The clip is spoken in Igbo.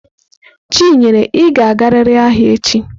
Chinyere, ị ga-agarịrị ahịa echi!